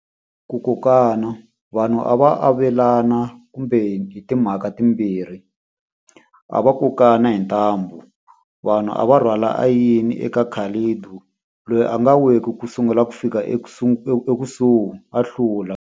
Ku kokana. Vanhu a va avelana kumbe hi timhaka timbirhi. A va kokana hi ntambu. Vanhu a va rhwala a yini eka loyi a nga weki sungula ku fika ekusuhi a hlula.